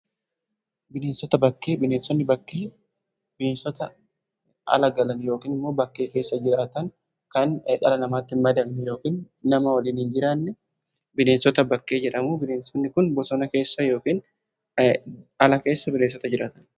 Bineensota bakkee: bineensonni bakkee bineensota ala galan yookiin immoo bakkee keessa jiraatan kan dhala namaatti hin madaqne yookiin nama waliin hin jiraanne bineensota bakkee jedhamu. Bineensonni kun bosona keessa yookiin ala keessa bineensota jiraatanidha.